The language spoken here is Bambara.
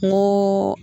N ko